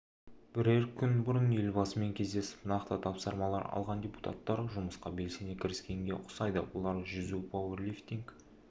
бірер күн бұрын елбасымен кездесіп нақты тапсырмалар алған депутаттар жұмысқа белсене кіріскенге ұқсайды олар жүзу пауэрлифтинг